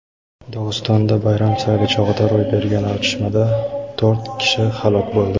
Dog‘istonda bayram sayli chog‘ida ro‘y bergan otishmada to‘rt kishi halok bo‘ldi.